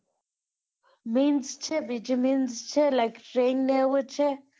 means છે.